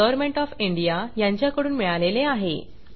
government of India कडून अर्थसहाय्य मिळाले आहे